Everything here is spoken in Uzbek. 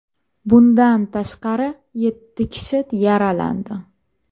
Bundan tashqari, yetti kishi yaralandi.